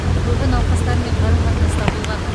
көбі науқастармен қарым қатынаста болған